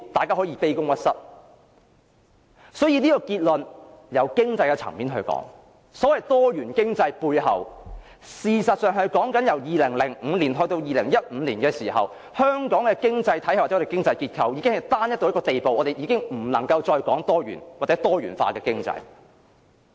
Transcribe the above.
所以，從經濟層面而言，結論是所謂多元經濟，事實上是指由2005年到2015年的時候，香港的經濟體系或經濟結構已經單一到一個地步，我們已經不能夠再談多元，或是多元化的經濟。